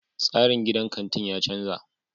Tsarin gidan kantin ya canza.